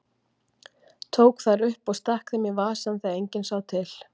Tók þær upp og stakk þeim í vasann þegar enginn sá til.